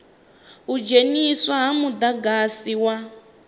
u dzheniswa ha mudagasi wa